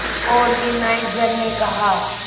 organiser ने कहा